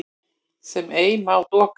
sem ei má doka